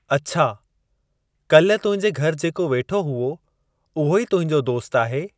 अछा, काल्हि तुंहिंजे घरि जेको वेठो हुओ, उहो ई तुंहिंजो दोस्त आहे?